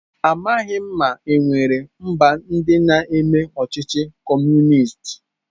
Amaghị m ma e nwere mba ndị na-eme ọchịchị Kọmunist.